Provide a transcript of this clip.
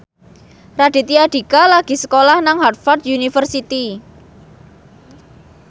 Raditya Dika lagi sekolah nang Harvard university